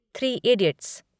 three idiots